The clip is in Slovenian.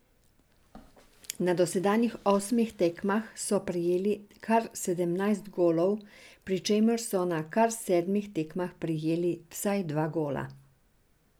Na dosedanjih osmih tekmah so prejeli kar sedemnajst golov, pri čemer so na kar sedmih tekmah prejeli vsaj dva gola.